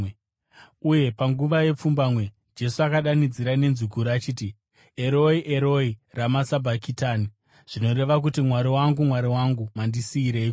Uye panguva yepfumbamwe, Jesu akadanidzira nenzwi guru achiti, “Eroi, Eroi, rama sabhakitani?” zvinoreva kuti “Mwari wangu, Mwari wangu, mandisiyireiko?”